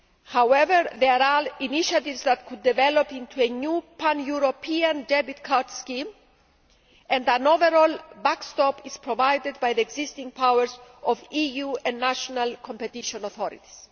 However, there are initiatives that could develop into a new pan European debit card scheme and an overall backstop is provided by the existing powers of EU and national competition authorities.